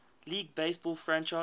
league baseball franchise